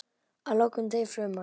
Að lokum deyr fruman.